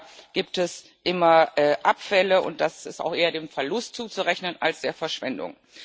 Auch da gibt es immer Abfälle, und das ist auch eher dem Verlust zuzurechnen als der Verschwendung.